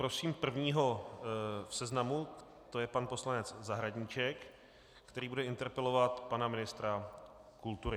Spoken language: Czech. Prosím prvního v seznamu, to je pan poslanec Zahradníček, který bude interpelovat pana ministra kultury.